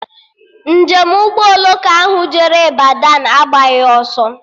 Njem Ụgbọ oloko ahụ jere Ịbadọ agbaghị ọsọ